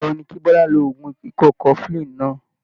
Ìgbà wo ni kí Bọlá lo oògùn ikọ́ cofflin náà?